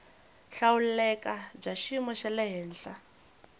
hlawuleka bya xiyimo xa le